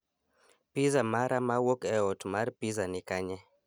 Pizza mara mawuok e ot mar pizza ni kanye